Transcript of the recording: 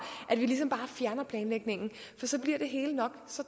om at planlægningen for så bliver det hele nok så